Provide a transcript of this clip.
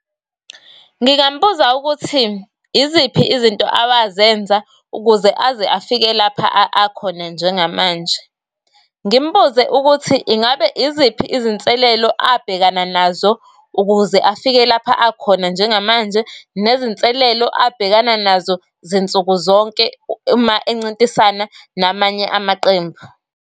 Ngingambuza ukuthi iziphi izinto abazenza ukuze aze afike lapha akhona njengamanje. Ngimbuze ukuthi ingabe iziphi izinselelo abhekana nazo ukuze afike lapha akhona njengamanje, nezinselelo abhekana nazo zinsuku zonke uma encintisana namanye amaqembu.